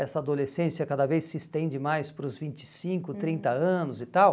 Essa adolescência cada vez se estende mais para os vinte e cinco, uhum, trinta anos e tal.